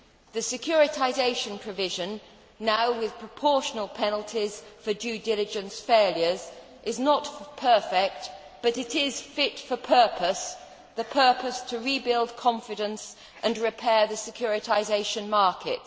The securitisation provision, now with proportional penalties for due diligence failures, is not perfect but it is fit for purpose the purpose to rebuild confidence and repair the securitisation market.